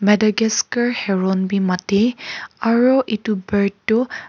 Madagascar Heron bi matie aro itu bird toh--